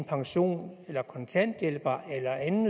pension eller kontanthjælp eller anden